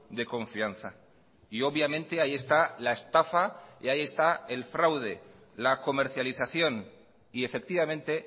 de confianza y obviamente ahí está la estafa y ahí está el fraude la comercialización y efectivamente